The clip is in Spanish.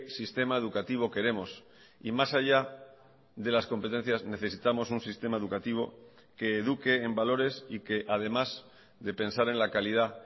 sistema educativo queremos y más allá de las competencias necesitamos un sistema educativo que eduque en valores y que además de pensar en la calidad